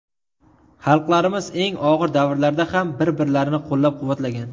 Xalqlarimiz eng og‘ir davrlarda ham bir-birlarini qo‘llab-quvvatlagan.